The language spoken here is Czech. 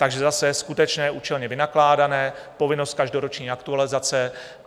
Takže zase skutečné účelně vynakládané, povinnost každoroční aktualizace.